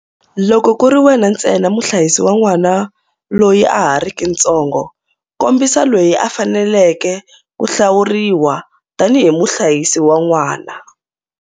Loko ku ri wena ntsena muhlayisi wa n'wana loyi a ha riki ntsongo, kombisa loyi a faneleke ku hlawuriwa tanihi muhlayisi wa n'wana.